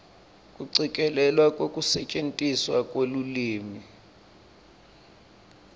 kucikelelwa kwekusetjentiswa kwelulwimi